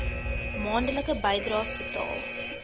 maandelikse bydraes betaal